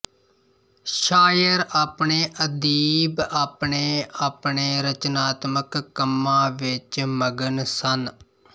ਸ਼ਾਇਰ ਅਤੇ ਅਦੀਬ ਆਪਣੇ ਆਪਣੇ ਰਚਨਾਤਮਕ ਕੰਮਾਂ ਵਿੱਚ ਮਗਨ ਸਨ